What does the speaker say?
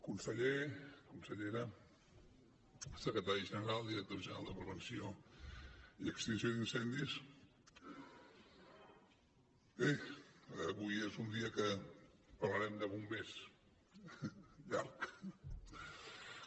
conseller consellera secretari general director general de prevenció i extinció d’incendis bé avui és un dia en què parlarem de bombers llarg